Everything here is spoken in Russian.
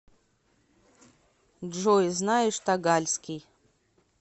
джой знаешь тагальский